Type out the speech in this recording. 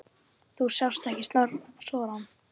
Þú sást ekki sorann.